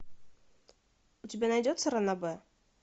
у тебя найдется ранобэ